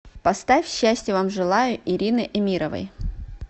поставь счастья вам желаю ирины эмировой